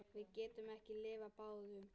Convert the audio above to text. Við getum ekki lifað báðum.